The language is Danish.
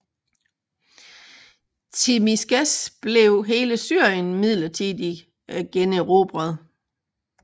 Tzimiskes blev hele Syrien midlertidig generobret